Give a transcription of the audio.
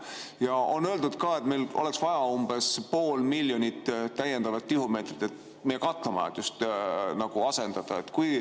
Ja on öeldud ka, et meil oleks vaja pool miljonit täiendavat tihumeetrit, et meie katlamajades asendada.